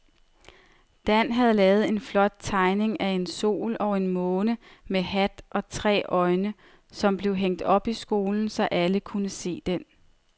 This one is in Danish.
Dan havde lavet en flot tegning af en sol og en måne med hat og tre øjne, som blev hængt op i skolen, så alle kunne se den.